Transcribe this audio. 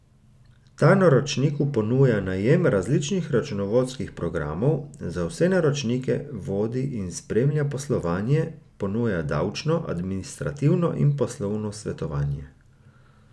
Ta naročniku ponuja najem raznih računovodskih programov, za vse naročnike vodi in spremlja poslovanje, ponuja davčno, administrativno in poslovno svetovanje.